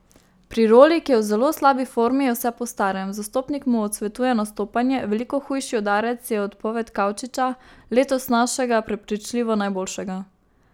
Pri Roli, ki je v zelo slabi formi, je vse po starem, zastopnik mu odsvetuje nastopanje, veliko hujši udarec je odpoved Kavčiča, letos našega prepričljivo najboljšega.